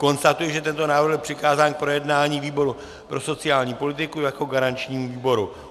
Konstatuji, že tento návrh byl přikázán k projednání výboru pro sociální politiku jako garančnímu výboru.